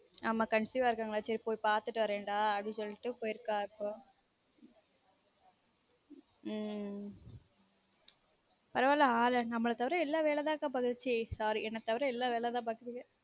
ஆமா conceive ஆகிருக்காங்கலான் சேரி போய் பாத்துட்டு வரேண்டா அப்டின்னு சொல்லிட்டு போயிருக்க இப்போ உம் பரவாயில்ல ஆலு நம்மல தவிர எல்லாரும் வேல தான் பாக்குது சீ sorry என்ன தவிர எல்லான் வேல தான் பாக்குதுக